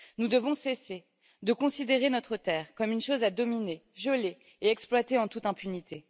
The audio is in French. Nous devons cesser de considérer notre Terre comme une chose à dominer, violer et exploiter en toute impunité.